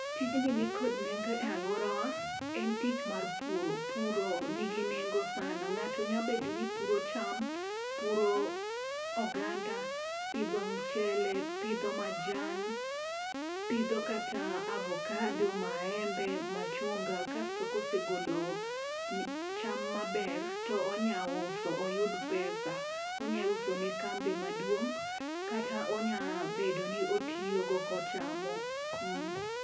Tijni nikod nengo e aluorawa en tich mar puro puro nigi nengo sana . Ng'ato nya bedo ni puro cham , puro oganda, pidho mchele , pidho majan, pidho kata avocado, maembe, machunga kasto kosegolo cham maber to onya uso oyud pesa. Onya uso ne kambi maduong' kata onya bedo ni otiyo go kochamo.